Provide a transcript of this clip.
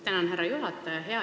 Tänan, härra juhataja!